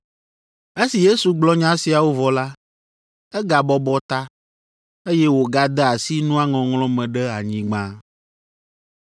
Esi Yesu gblɔ nya siawo vɔ la, egabɔbɔ ta, eye wògade asi nua ŋɔŋlɔ me ɖe anyigba.